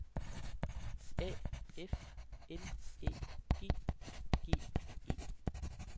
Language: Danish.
A F L Æ G G E